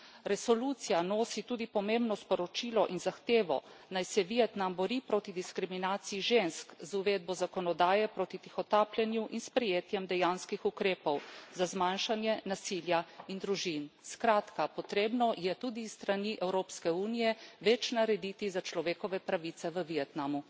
Resolucija nosi tudi pomembno sporočilo in zahtevo, naj se Vietnam bori proti diskriminaciji žensk z uvedbo zakonodaje proti tihotapljenju in sprejetjem dejanskih ukrepov za zmanjšanje nasilja in družin. Skratka, potrebno je tudi s strani Evropske unije več narediti za človekove pravice v Vietnamu.